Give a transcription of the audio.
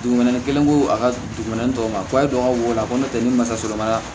Dugumɛnɛ kelen ko a ka dugumɛnɛ tɔw ma ko e dɔgɔ ko n'o tɛ ni mansa sɔrɔ ma